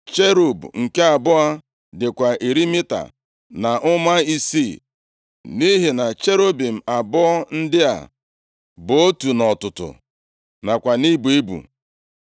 Cherub nke abụọ dịkwa iri mita na ụma isii, nʼihi na cherubim abụọ ndị a bụ otu nʼọtụtụ nakwa nʼibu ibu.